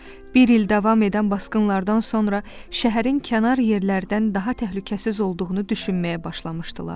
Bir il davam edən basqınlardan sonra şəhərin kənar yerlərdən daha təhlükəsiz olduğunu düşünməyə başlamışdılar.